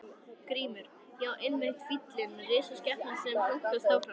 GRÍMUR: Já, einmitt fíllinn, risaskepnan sem hlunkast áfram.